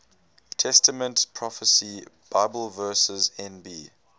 testament prophecy bibleverse nb